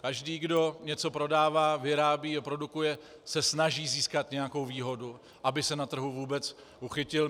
Každý, kdo něco prodává, vyrábí, produkuje, se snaží získat nějakou výhodu, aby se na trhu vůbec uchytil.